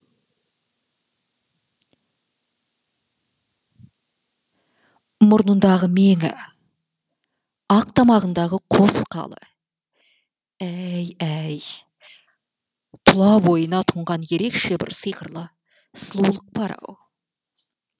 мұрнындағы меңі ақ тамағындағы қос қалы әй әй тұла бойына тұнған ерекше бір сиқырлы сұлулық бар ау